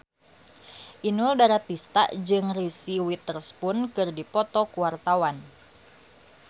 Inul Daratista jeung Reese Witherspoon keur dipoto ku wartawan